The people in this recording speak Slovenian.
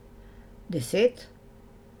Deset?